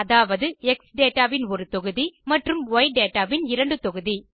அதாவது X data ன் ஒரு தொகுதி மற்றும் ய் டேட்டா ன் இரண்டு தொகுதி